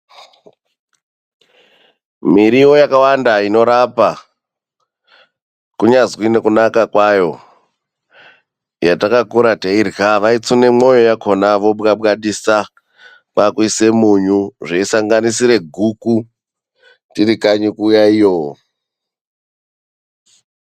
Miriwo yakawanda inorapa, kunyazwi nekunaka kwayo yatakakure teirya. Vaitsune moyo yakona vobwabwadisa kwakuise munyu. Zveisanganisire guku tiri kanyi kuya iyo.